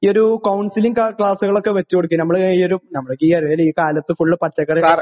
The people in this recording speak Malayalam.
ഒരു കൗൺസിലിങ് ക്ലാസുകൾ ഒക്കെ വച്ചുകൊണ്ട്